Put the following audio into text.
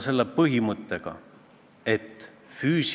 " Ma ütlesin, et jah, see on õige, aga see maja on Eesti Vabariik!